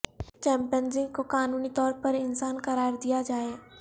chimpanzee کو قانونی طور پر انسان قرار دیا جائے